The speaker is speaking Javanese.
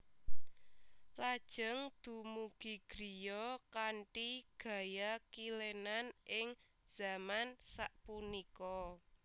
Lajeng dumugi griya kanthi gaya kilenan ing zaman sapunika